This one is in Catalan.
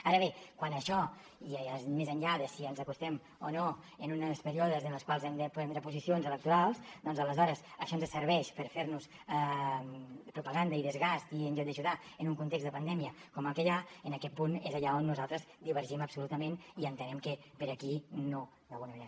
ara bé quan això ja és més enllà de si ens acostem o no a uns períodes en els quals hem de prendre posicions electorals doncs aleshores això ens serveix per fernos propaganda i desgast i en lloc d’ajudar en un context de pandèmia com el que hi ha en aquest punt és allà on nosaltres divergim absolutament i entenem que per aquí no d’alguna manera